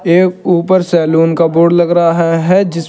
एक ऊपर सैलून का बोर्ड लग रहा है जिस--